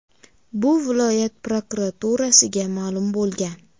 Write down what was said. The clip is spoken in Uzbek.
Bu viloyat prokuraturasiga ma’lum bo‘lgan.